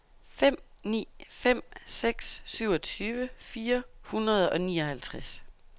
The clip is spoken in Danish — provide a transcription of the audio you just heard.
fem ni fem seks syvogtyve fire hundrede og nioghalvtreds